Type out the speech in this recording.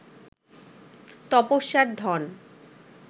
তপস্যার ধন